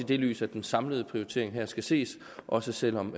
det lys at den samlede prioritering her skal ses også selv om